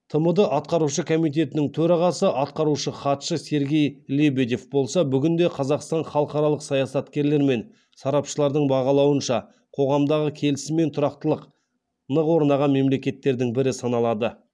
тмд атқарушы комитетінің төрағасы атқарушы хатшысы сергей лебедев болса бүгін де қазақстан халықаралық саясаткерлер мен сарапшылардың бағалауынша қоғамдағы келісім мен тұрақтылық нық орнаған мемлекеттердің бірі саналады